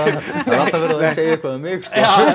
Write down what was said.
er alltaf verið að segja eitthvað um mig sko já